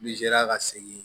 Ni zeriya ka segin